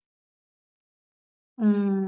உம்